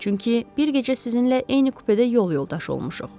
Çünki bir gecə sizinlə eyni kupedə yol yoldaşı olmuşuq.